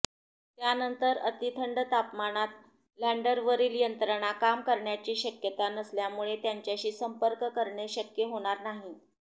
त्यानंतर अतिथंड तापमानात लँडरवरील यंत्रणा काम करण्याची शक्यता नसल्यामुळे त्याच्याशी संपर्क करणे शक्य होणार नाही